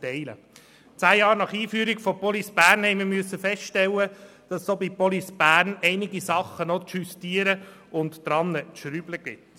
Zehn Jahre nach Einführung von Police Bern mussten wir feststellen, dass es auch bei Police Bern noch einige Dinge zu justieren gibt.